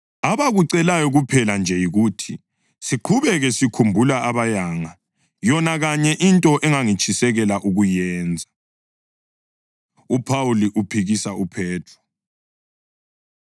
Abakucelayo kuphela nje yikuthi siqhubeke sikhumbula abayanga, yona kanye into engangitshisekela ukuyenza. UPhawuli Uphikisa UPhethro